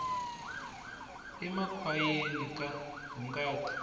emakhwayeni ka hungata